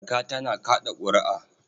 Marka tana kaɗa ƙuri'a.